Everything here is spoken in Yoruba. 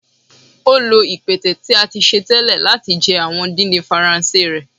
o lo ipẹtẹ ti a ti ṣe tẹlẹ lati jẹ awọn didin Faranse rẹ.